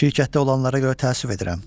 Şirkətdə olanlara görə təəssüf edirəm.